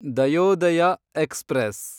Dayodaya express